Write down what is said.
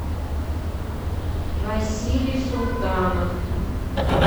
василий султанов